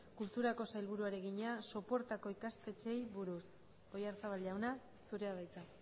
kulturako sailburuari egina sopuertako ikastetxeei buruz oyarzabal jauna zurea da hitza